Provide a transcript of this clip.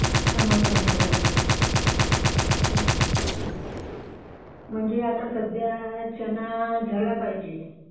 समोर पाहिजे अच्छा. म्हणजे आता सद्धया चणा झाला पाहिजे